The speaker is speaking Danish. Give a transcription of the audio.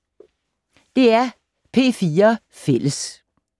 DR P4 Fælles